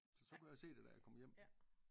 Så så kunne jeg se det da jeg kom hjem